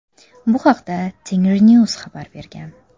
Bu haqda Tengrinews xabar bergan .